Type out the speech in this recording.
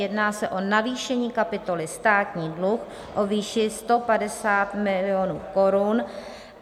Jedná se o navýšení kapitoly Státní dluh o výši 150 milionů korun.